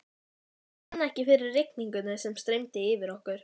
Ég fann ekki fyrir rigningunni sem streymdi yfir okkur.